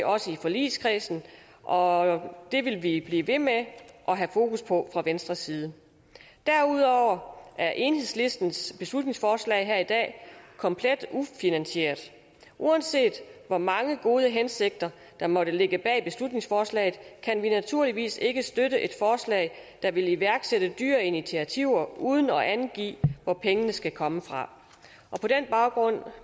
også i forligskredsen og det vil vi blive ved med at have fokus på fra venstres side derudover er enhedslistens beslutningsforslag her i dag komplet ufinansieret uanset hvor mange gode hensigter der måtte ligge bag beslutningsforslaget kan vi naturligvis ikke støtte et forslag der vil iværksætte dyre initiativer uden at angive hvor pengene skal komme fra og på den baggrund